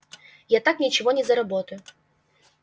я так ничего не заработаю